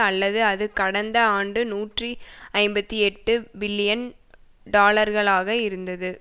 அல்லது அது கடந்த ஆண்டு நூற்றி ஐம்பத்தி எட்டு பில்லியன் டொலர்களாக இருந்தது